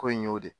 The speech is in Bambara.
Ko in y'o de ye